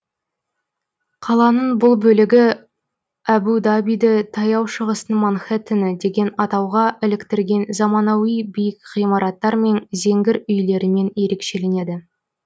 қаланың бұл бөлігі әбу дабиді таяу шығыстың манхеттені деген атауға іліктірген заманауи биік ғимараттар мен зеңгір үйлерімен ерекшеленеді